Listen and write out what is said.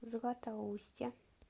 златоусте